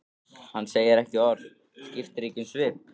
Hann segir ekki orð, skiptir ekki um svip.